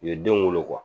U ye denw wolo